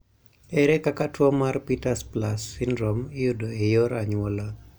ere kaka tuo mar Peters plus syndrome iyudo e yor anyuola